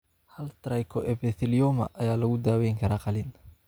Hal trichoepithelioma ayaa lagu daweyn karaa qalliin.